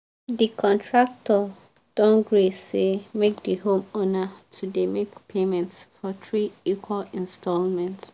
the contractor don gree say make the homeowner to dey make payments for three equal installments.